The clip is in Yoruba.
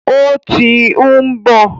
Ó tí ń bọ̀.